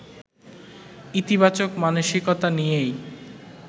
ইতিবাচক মানসিকতা নিয়েই